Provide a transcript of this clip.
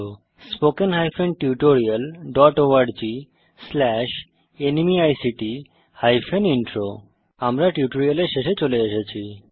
http spoken tutorialorgnmeict intro আমরা এই টিউটোরিয়ালের শেষে চলে এসেছি